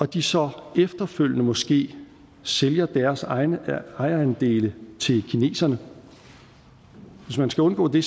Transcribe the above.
de så efterfølgende måske sælger deres ejerandele til kineserne hvis man skal undgå det